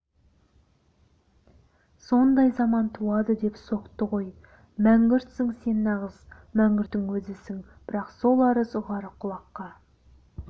сондай заман туады деп соқты ғой мәңгүртсің сен нағыз мәңгүрттің өзісің бірақ сол арыз ұғар құлаққа